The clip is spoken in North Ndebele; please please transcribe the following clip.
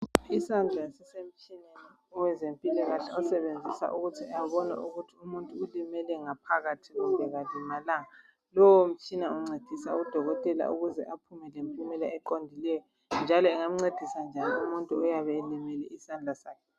Isandla sisemtshineni owezempilakahle isebenzisa ukuze abone ukuthi umuntu ulimele ngaphakathi kumbe kalimalanga lowo mtshina uncedisa odokotela ukuze aphume lempumela eqondileyo njalo engancedisa njani umuntu oyabe elimele isandla.